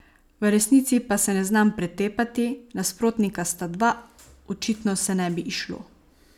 V resnici pa se ne znam pretepati, nasprotnika sta dva, očitno se ne bi izšlo.